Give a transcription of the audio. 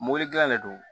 Mobili dilan de do